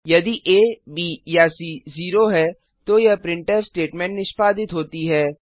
यदि आ ब या सी जीरो है तो यह प्रिंटफ स्टेटमेंट निष्पादित होती है